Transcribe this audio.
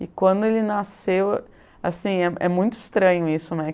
E quando ele nasceu, assim, é é muito estranho isso, né?